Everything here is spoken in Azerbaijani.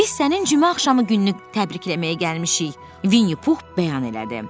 "Biz sənin cümə axşamı gününü təbrikləməyə gəlmişik," Vinni Pux bəyan elədi.